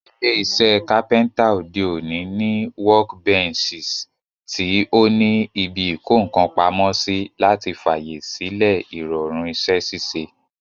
Ilé isẹ́ carpenter òde òní ní workbenches tí o ní ibi ìkókàn pamósí, láti fàyè sílẹ̀ ìrọ̀rùn isẹ́ ṣíṣe